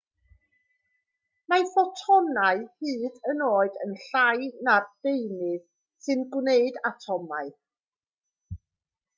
mae ffotonau hyd yn oed yn llai na'r deunydd sy'n gwneud atomau